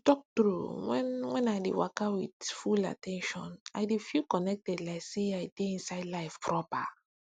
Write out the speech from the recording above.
to talk true when when i waka with full at ten tion i dey feel connected like say i dey inside life proper